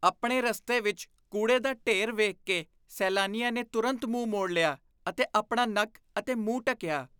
ਆਪਣੇ ਰਸਤੇ ਵਿੱਚ ਕੂੜੇ ਦਾ ਢੇਰ ਵੇਖ ਕੇ ਸੈਲਾਨੀਆਂ ਨੇ ਤੁਰੰਤ ਮੂੰਹ ਮੋੜ ਲਿਆ ਅਤੇ ਆਪਣਾ ਨੱਕ ਅਤੇ ਮੂੰਹ ਢੱਕਿਆ।